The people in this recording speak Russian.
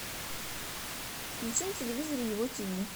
включи на телевизоре его тиви